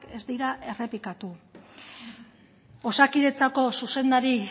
ez dira errepikatu osakidetzako zuzendari